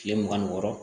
Tile mugan ni wɔɔrɔ